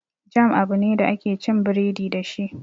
Jam abu ne da ake cin biredi dashi